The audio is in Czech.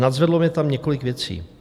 Nadzvedlo mě tam několik věcí.